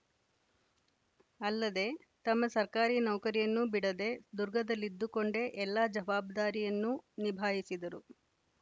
ಅಲ್ಲದೆ ತಮ್ಮ ಸರ್ಕಾರಿ ನೌಕರಿಯನ್ನೂ ಬಿಡದೆ ದುರ್ಗದಲ್ಲಿದ್ದುಕೊಂಡೇ ಎಲ್ಲ ಜವಾಬ್ದಾರಿಯನ್ನು ನಿಭಾಯಿಸಿದರು